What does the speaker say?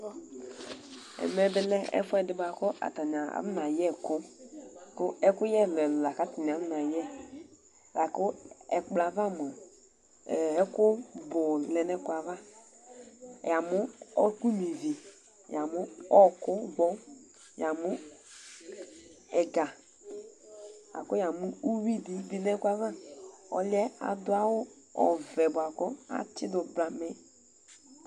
Ɛmɛ bɩ lɛ ɛfʋɛ dɩ bʋa kʋ atanɩ afɔnayɛ ɛkʋ Kʋ ɛkʋyɛ ɛlʋ-ɛlʋ la kʋ atanɩ akɔnayɛ la kʋ ɛkplɔ yɛ ava mʋa, ɛɛ ɛkʋ bʋ lɛ nʋ ɛkplɔ yɛ ava Yamʋ ɔɣɔkʋnyuǝ ivi, yamʋ ɔɣɔkʋgbɔ, yamʋ ɛga la kʋ yamʋ uyui dɩ bɩ nʋ ɛkʋ yɛ ava Ɔlʋ yɛ adʋ awʋ ɔvɛ bʋa kʋ atsɩdʋ blamɛ